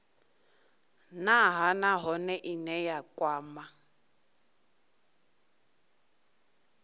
nha nahone ine ya kwama